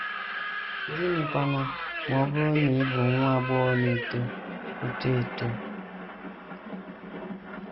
Gịnịkwanụ ma ọ bụrụ na ị bụ nwa agbọghọ na - eto eto eto?